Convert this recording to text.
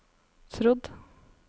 trodd